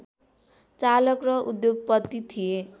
चालक र उद्योगपति थिए